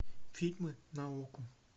фильмы на окко